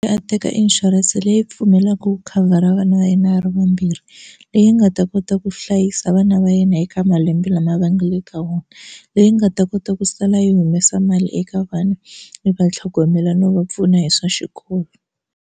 A teka inshurense leyi pfumelaka ku khavhara vana va yena a ri vambirhi leyi nga ta kota ku hlayisa vana va yena eka malembe lama va nga le ka wona leyi nga ta kota ku sala yi humesa mali eka vana mi va tlhogomela no va pfuna hi swa xikolo.